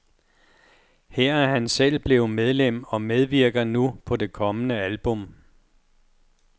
Her er han selv blevet medlem og medvirker nu på det kommende album.